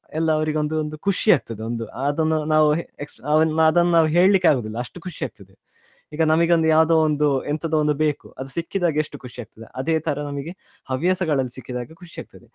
ಎಲ್ಲ ಅವರಿಗೊಂದು ಒಂದು ಖುಷಿ ಅಗ್ತದೆ ಒಂದು ಎಕ್ಷ~ ಅದನ್ನ ನಾವ್ ಹೇಳ್ಲಿಕ್ಕೆ ಆಗುದಿಲ್ಲ ಅಷ್ಟು ಖುಷಿ ಆಗ್ತದೇ ಈಗ ನಮಿಗೊಂದು ಯಾವ್ದೊ ಒಂದು ಎಂತದೊ ಒಂದು ಬೇಕು ಅದು ಸಿಕ್ಕಿದಾಗ ಎಷ್ಟು ಖುಷಿ ಆಗ್ತದೇ ಅದೇ ತರ ನಮ್ಗೆ ಹವ್ಯಾಸಗಳಲ್ಲಿ ಸಿಕ್ಕಿದಾಗ ಖುಷಿ ಆಗ್ತದೆ.